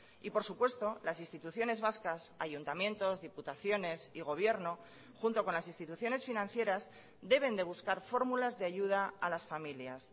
y por supuesto las instituciones vascas ayuntamientos diputaciones y gobierno junto con las instituciones financieras deben de buscar fórmulas de ayuda a las familias